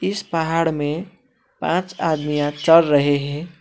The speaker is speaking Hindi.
इस पहाड़ में पांच आदमियां चढ़ रहे हैं।